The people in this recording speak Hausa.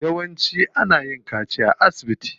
Yawanci ana yin kaciya ne a asibiti.